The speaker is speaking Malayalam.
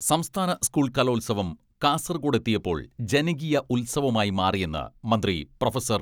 സംസ്ഥാന സ്കൂൾ കലോത്സവം കാസർഗോഡ് എത്തിയപ്പോൾ ജനകീയ ഉത്സവമായി മാറിയെന്ന് മന്ത്രി പ്രൊഫസർ.